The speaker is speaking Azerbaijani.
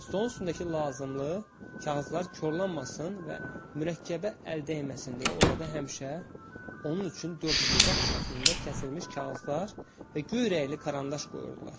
Stolun üstündəki lazımlı kağızlar korlanmasın və mürəkkəbə əl dəyməsin deyə orada həmişə onun üçün dördbucaq şəklində kəsilmiş kağızlar və göy rəngli karandaş qoyurdular.